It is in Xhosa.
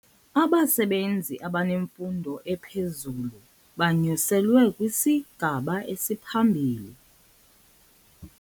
Abasebenzi abanemfundo ephezulu banyuselwe kwisigaba esiphambili.